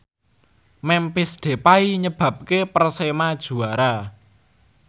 Memphis Depay nyebabke Persema juara